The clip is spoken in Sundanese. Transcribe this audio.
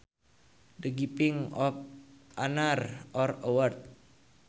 The giving of an honor or award